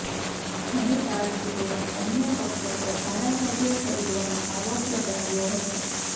ઘણી પાર્ટીઓએ અન્ય પક્ષો પર ધારાસભ્યો ખરીદવાનો આરોપ લગાવ્યો હતો